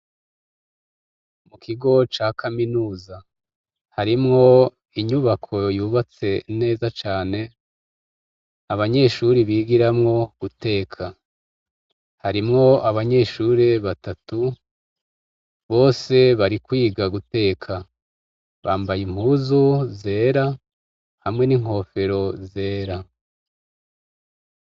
Mu kigo ca kaminuza harimwo inyubako yubatse neza cane, abanyeshuri bigiramwo guteka . Harimwo abanyeshure batatu, bose bari kwiga guteka. Bambaye impuzu zera hamwe n' inkofero zera.